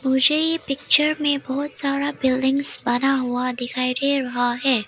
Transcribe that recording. मुझे ये पिक्चर में बहुत सारा बिल्डिंग्स बना हुआ दिखाई दे रहा है।